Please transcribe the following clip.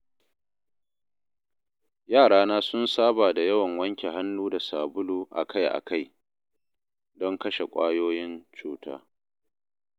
Yarana sun saba da yawan wanke hannu da sabulu akai-akai, don kashe ƙwayoyin cuta.